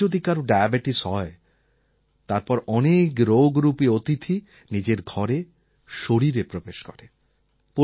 একবার যদি কারও ডায়াবেটিস হয় তারপর অনেক রোগরূপী অতিথি নিজের ঘরে শরীরে প্রবেশ করে